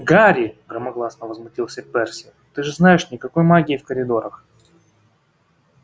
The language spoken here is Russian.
гарри громогласно возмутился перси ты же знаешь никакой магии в коридорах